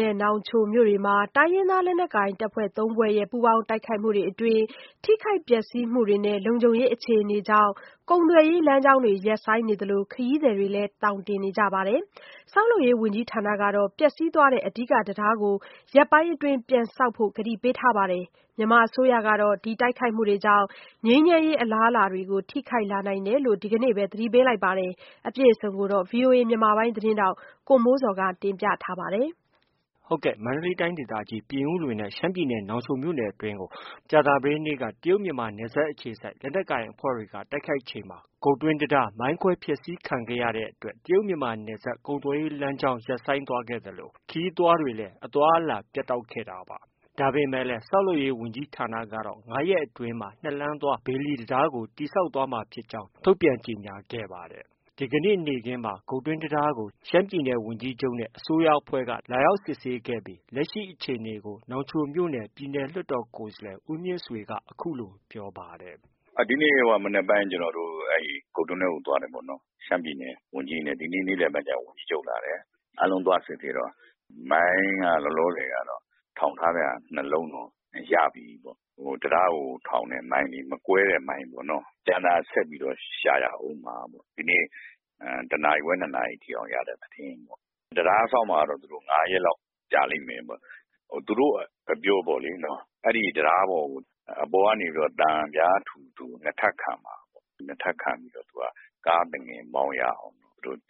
နဲ့ နောင်ချိုမြို့နယ်တွေမှာ တိုင်းရင်းသားလက်နက်ကိုင် အဖွဲ့ ၃ ဖွဲ့ရဲ့ ပူးပေါင်းတိုက်ခိုက်မှုတွေအတွင်း ထိခိုက်ပျက်စီးမှုတွေနဲ့ လုံခြုံရေး အခြေအနေကြောင့် ကုန်သွယ်ရေး လမ်းကြောင်းတွေ ရပ်ဆိုင်းနေသလို ခရီး သည်တွေလည်း သောင်တင်နေကြပါတယ်။ ဆောက်လုပ်ရေး ဝန်ကြီးဌာနကတော့ ပျက်စီးသွားတဲ့ အဓိက တံတားကို ရက်ပိုင်းအတွင်း ပြန်ဆောက်ဖို့ ကတိပေးထားပါတယ်။ မြန်မာအစိုးရကတော့ တိုက်ခိုက်မှုကြောင့် ငြိမ်းချမ်းရေး အလားအလာတွေကို ထိခိုက်လာနိုင်တယ်လို့လည်း ဒီကနေ့ပဲ သတိပေးခဲ့ တာပါ။ အပြည့်အစုံကိုတော့ ဗွီအိုအေမြန်မာပိုင်း သတင်းထောက်ကိုမိုးဇော်က တင်ပြထားပါတယ်။ မန္တလေးတိုင်းဒေသကြီး ပြင်ဦးလွင်နဲ့ ရှမ်းပြည်နယ် နောင်ချိုမြို့နယ်အတွင်းကို ဗုဒ္ဓဟူးနေ့က တရုတ်မြန်မာ နယ်စပ်အခြေစိုက် လက်နက်ကိုင်အဖွဲ့တွေက တိုက်ခိုက်ချိန်မှာ ဂုတ်တွင်းတံတားကို မိုင်းခွဲဖျက်ဆီးခံခဲ့ ရတဲ့အတွက် ကုန်သွယ်ရေးလမ်းကြောင်း ရပ်ဆိုင်းသွားခဲ့သလို၊ ခရီးသွားတွေလည်း အသွားအလာ ပြတ်တောက်ခဲ့တာပါ။ ဒါပေမဲ့လည်း ဆောက်လုပ်ရေးဝန်ကြီးဌာနကတော့၅ ရက်အတွင်းမှာ ၂ လမ်းသွား ဘေလီတံတားကိုတည်ဆောက်သွားမှာဖြစ်ကြောင်း ထုတ်ပြန်ကြေညာခဲ့ပါတယ်။ ဒီကနေ့ နေ့ခင်းမှာ ဂုတ်တွင်းတံတားကို ရှမ်းပြည်နယ် ဝန်ကြီးချုပ်နဲ့ အစိုးရအဖွဲ့က လာရောက်စစ်ဆေးပြီး လက်ရှိအခြေအနေကို နောင်ချိုမြို့နယ် ပြည်နယ်လွှတ်တော် ကိုယ်စားလှယ် ဦးမြင့်ဆွေက ပြောပါတယ်။ “ဒီနေ့ မနက်ပိုင်း ကျနော်တို့ ဂုတ်တွင်းထဲကို သွားတယ်ပေါ့နော်။ ရှမ်းပြည်နယ် ဝန်ကြီးတွေနဲ့၊ ဒီနေ့ နေ့လည်ဘက်ကျတော့ ဝန်ကြီးချုပ်လာတယ်။ အားလုံးသွားစစ်ဆေးတော့ မိုင်းက လောလောဆယ်က ထောင်ထားတဲ့ဟာ ၂ လုံးတော့ ရပြီးပြီ။ တံတားကို ထောင်တဲ့ မိုင်းလေ ။မကွဲ တဲ့ မိုင်းပေါ့။ ကျန်တာ ဆက်ပြီးတော့ ရှာရအုံးမှာပေါ့။ ဒီနေ့ တစ်နာရီခွဲ၊ ၂ နာရီထိ ရတဲ့သတင်း။ တံတားဆောက်မှာကတော့ သူတို့ ၅ ရက်လောက် ကြာလိမ့်မယ်ပေါ့။ သူတို့အပြောပေါ့ လေနော်။ အဲဒီတံတားပေါ်ကို အပေါ်ကနေ သံပြားထူထူ ၂ ထပ်ခံမှာပေါ့။ ၂ထပ်ခံပြီး ကားသူငယ်မောင်းရအောင်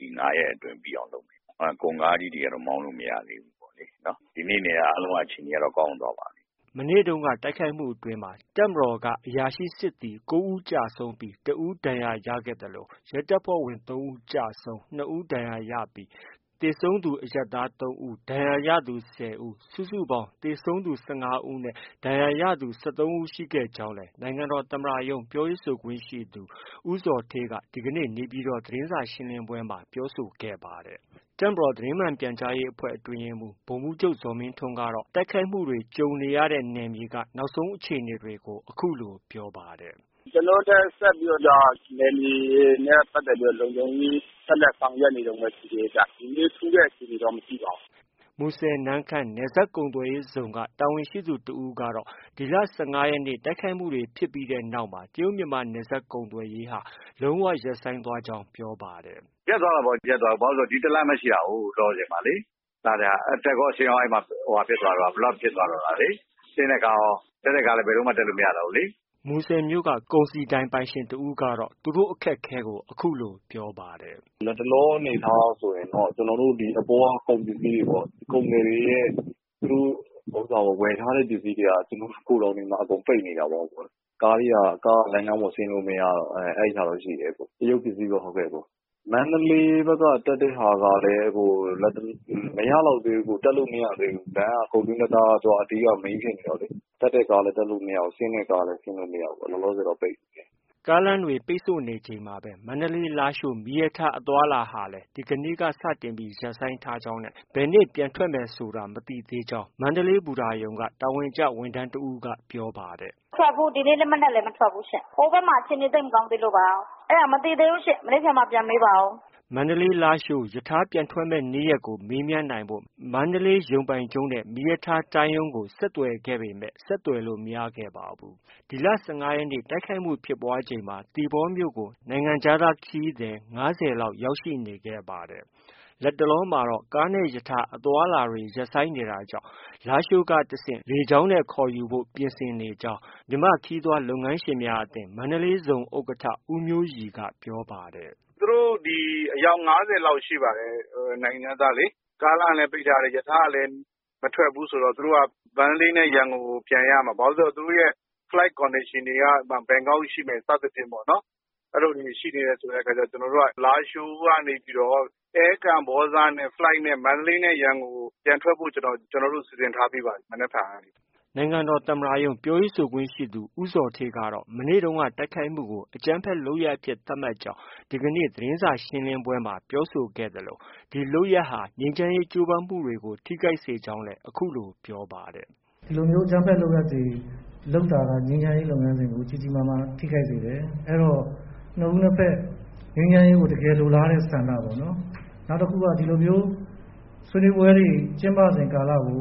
ဒီ ၅ရက်အတွင်း ပြီးအောင်လုပ်မယ်ပေါ့။ ကုန်ကားကြီးတွေ ကတော့ မောင်းလို့ မရသေးဘူးပေါ့လေနော်။ ဒီနေ့က အားလုံးက အခြေအနေက ကောင်းသွားပါပြီ။” မနေ့တုန်းက တိုက်ခိုက်မှုတွေအတွင်း တပ်မတော်က အရာရှိနဲ့စစ်သည် ၉ ဦး သေဆုံးပြီး၊ ၁ ဦး ဒဏ်ရာရရှိခဲ့ သလို၊ ရဲတပ်ဇွဲ့ဝင် ၃ ဦးကျဆုံး၊ ၂ ဦး ဒဏ်ရာရခဲ့ပြီး၊ သေဆုံးသူ အရပ်သား ၃ ဦး၊ ဒဏ်ရာရသူ ၁၀ ဦး၊ စုစုပေါင်း သေဆုံးသူ ၁၅ ဦး၊ ဒဏ်ရာရသူ ၁၃ ဦး ရှိခဲ့ကြောင်းလည်း နိုင်ငံတော်သမ္မတရုံး ပြောခွင့်ရသူ ဦးဇော်ဌေးက ဒီကနေ့ နေပြည်တော် သတင်းစာရှင်းလင်းပွဲမှာ ပြောဆိုခဲ့ပါတယ်။ တပ်မတော်သတင်းမှန်ပြန်ကြားရေးအဖွဲ့ အတွင်းရေးမှုး ဗိုလ်မှုးချုပ်ဇော်မင်းထွန်းကတော့ တိုက်ခိုက်မှုတွေ ကြုံခဲ့ရတဲ့ နယ်မြေက နောက်ဆုံးအခြေအနေတွေကို အခုလို ပြောပါတယ်။ “ကျနော်တို့လည်း ဆက်လက်ပြီးတော့ နယ်မြေလုံခြုံရေး ဆက်လက်ဆောင်ရွက်နေတုံးပဲ ရှိသေးတယ်။ ဒီနေ့ ထူးတဲ့အခြေအနေတော့ မရှိပါဘူး။ ” မူဆယ်-နမ့်ခမ်း နယ်စပ်ကုန်သွယ်ရေးဇုံက တာဝန်ရှိသူတစ်ဦးကတော့ ဒီလ ၁၅ရက်နေ့ တိုက်ခိုက်မှုဖြစ်ပြီးနောက်မှာ တရုတ်မြန်မာနယ်စပ် ကုန်သွယ်ရေးဟာ လုံး၀ ရပ်ဆိုင်းသွားကြောင်းလည်း ပြောပါတယ်။ “ရပ်သွားတာပေါ့။ ရပ်သွားတာဆို ဒီတလမ်းပဲ ရှိတာလေ။ လောလောဆယ်မှာလေ။ အတက်ကော အဆင်းရော အဲဒီမှာ blockဖြစ်သွားတော့တာလေ။ ဆင်းတဲ့ကားရော၊ တက်တဲ့ကားလည်း ဘယ်လိုမှ တက်လို့ မရတော့ဘူးလေ။” မူဆယ်မြို့က ကုန်စည်ဒိုင်ပိုင်ရှင်တဦးကလည်း သူတို့ အခက်အခဲကို အခုလို ပြောပါတယ်။ “လတ်တလောအနေအထားအရဆိုရင်တော့ ကုန်သည်တွေရဲ့ သူတို့ ဝယ်ထားတဲ့ ပစ္စည်းတွေက ဂိုဒေါင်တွေမှာ အကုန်ပိတ်နေတာပေါ့။ ကားက လမ်းကြောင်းပေါ် ဆင်းလို့ မရတော့။ တရုတ်ပစ္စည်းပဲ။ မန္တေ လးဘက်က တက်တဲ့ဟာကလည်း လတ်တလော မရလောက်သေး ဘူး။ တက်လို့ မရသေးဘူး။ ဂုတ်တွင်းတံတားက အဓိက Mainဖြစ်နေတော့လေ။ တက်တဲ့ကားကလည်း တက်မရဘူး။ ဆင်းတဲ့ကား လည်း ဆင်းမရဘူး။ လောလောဆယ်တော့ပိတ်နေတယ်။” ကားလမ်းပိတ်ဆို့နေချိန်မှာပဲ မန္တလေး-လားရှိုး မီးရထားအသွားအလာဟာလည်း ဒီကနေ့က စတင်ပြီး ရပ်ဆိုင်းထားကြောင်းနဲ့ ဘယ်နေ့ ပြန်ထွက်မယ်ဆိုတာ မသိသေးကြောင်း မန္တလေး ဘူတာရုံက တာဝန်ကျ ဝန်ထမ်းတဦးက ပြောပါတယ်။ “ဒီနေ့ မနက်လည်းမထွက်ဘူးရှင့်။ ဟိုဘက်မှာ အခြေအနေ သိပ်မကောင်းသေးလို့ပါ။ အဲဒါ မနက်ဖြန်မှ ပြန်မေးပါအုံး။” မန္တလေး-လားရှိုးရထားပြန်ထွက်မယ့်နေ့ရက်ကို မေးမြန်းနိုင်ဖို့ မန္တလေးရုံပိုင်ချုပ်နဲ့ မီးရထား တိုင်းရုံးကို ဆက်သွယ်ခဲ့ပေမဲ့ ဆက်သွယ်လို့ မရခဲ့ပါဘူး။ ဒီလ ၁၅ရက်နေ့ တိုက်ခိုက်မှုဖြစ်ပွားချိန်မှာ သီပေါမြို့ကို နိုင်ငံခြားခရီးသည် ၅၀ ခန့်ရောက်ရှိနေခဲ့ပါတယ်။ လတ်တလောမှာ ကားနဲ့ ရထားအသွားအလာတွေရပ်ဆိုင်းနေတာကြောင့် လားရှိုးကတဆင့် လေကြောင်းနဲ့ ခေါ်ယူဖို့ ပြင်ဆင်နေကြောင်း မြန်မာနိုင်ငံ ခရီးသွားလုပ်ငန်းရှင်များအသင်း မန္တလေးဇုံ ဥက္ကဋ္ဌဦးမျိုးရီက ပြောပါတယ်။ “သူတို့ အယောက် ၅၀လောက်ရှိပါတယ်။ နိုင်ငံခြားသားလေ။ ကားလမ်းကလည်း ပိတ်ထားတယ်။ ရထားကလည်း မထွက်ဘူးဆိုတော့ သူတို့က မန္တလေးနဲ့ ရန်ကုန်ကို ပြန်ရမှာ။ ဘာလို့ ဆို သူတို့ရဲ့ Flight Condationတွေက ဘန်ကောက်ရှိမယ် စသည်ဖြင့်ပေါ့လေ။ အဲလိုလေးတွေ ရှိနေတဲ့အ ခါကျတော့ ကျနော်တို့က လားရှိုးကနေပြီးတော့ အဲကမ္ဘောဇနဲ့ Flightနဲ့ မန္တလေးနဲ့ ရန်ကုန်ကို ပြန်ထွက်ဖို့ စီစဉ်ထားပြီးပါပြီ မနက်ဖြန်ကနေ။” နိုင်ငံတော်သမ္မတရုံး ပြောရေးဆိုခွင့်ရှိသူ ဦးဇော်ဌေးကတော့ မနေ့တုန်းက တိုက်ခိုက်မှုကို အကြမ်းဖက်လုပ် ရပ်အဖြစ် သတ်မှတ်ကြောင်း ဒီကနေ့ သတင်းစာရှင်းလင်းပွဲမှာပြောဆိုသွားဲ့သလို၊ ဒီလုပ်ရပ်ဟာ ငြိမ်းချမ်းရေး ကြိုးပမ်းမှုတွေကို ထိခိုက်စေကြောင်း အခုလို ပြောပါတယ်။ “ဒီလိုမျိုး အကြမ်းဖက်လုပ်ရပ်တွေလုပ်တာက ငြိမ်းချမ်းရေးလုပ်ငန်းစဉ်ကို ကြီးကြီးမားမား ထိခိုက်စေတယ်။ အဲဒီတော့ နှစ်ဦးနှစ်ဘက် ငြိမ်းချမ်းရေးကို တကယ်လိုလားတဲ့ဆန္ဒပေါ့နော်-နောက်တခုက ဒီလိုမျိုး ဆွေးနွေးပွဲတွေ ကျင်းပစဉ်ကာလကို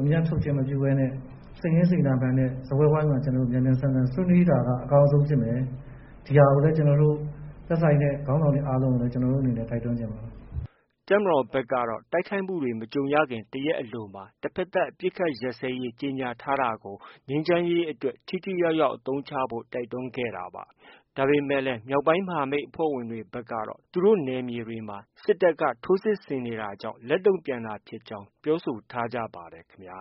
အမြတ်ထုတ်ချင်းမပြုဘဲနဲ့ စိတ်ရင်းစေတနာမှန်နဲ့ စားပွဲဝိုင်းမှာ မြန်မြန်ဆန်ဆန် ဆွေးနွေးတာက အကောင်းဆုံး ဖြစ်မယ်။ ဒီဟာကိုလည်း သက်ဆိုင်တဲ့ခေါင်းဆောင်တွေ အားလုံးကို ကျနော်တို့အနေနဲ့ တိုက်တွန်းချင်ပါတယ်။” တပ်မတော်ကတော့ တိုက်ခိုက်မှုတွေနဲ့ မကြုံရခင် တရက်အလိုမှာပဲ တဘက်သတ် အပစ်အခတ် ရပ်စဲရေး ကြေညာထားတာကို ငြိမ်းချမ်းရေးအတွက် ထိထိရောက်ရောက် အသုံးချဖို့ တိုက်တွန်းခဲ့တာပါ။ ဒါပေမဲ့လည်း မြောက်ပိုင်းမဟာမိတ် အဖွဲ့ဝင်တွေ ဘက်ကတော့ သူတို့နယ်မြေတွေမှာ စစ်တပ်က ထိုးစစ်တွေကြောင့် လက်တုံ့ပြန်တာဖြစ်ကြောင်းပြောဆိုထားကြပါတယ်ခင်ဗျာ